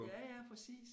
Ja ja præcis